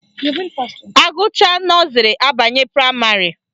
Agụchaa nọzrị abanye praịmarị